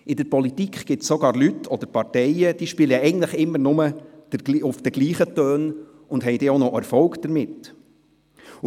In der Politik gibt es sogar Leute oder Parteien, die eigentlich immer dieselben Töne spielen und erst noch Erfolg damit haben.